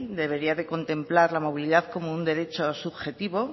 debería de contemplar la movilidad como un derecho subjetivo